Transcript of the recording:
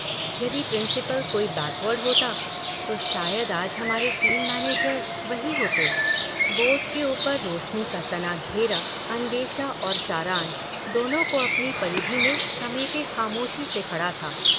यदि प्रिंसिपल कोई बैकवर्ड होता तो शायद आज हमारे टीम मैनेजर वही होते...' बोर्ड के ऊपर रोशनी का तना घेरा अन्वेषा और सारांश दोनों को अपनी परिधि में समेटे खामोशी से खड़ा था।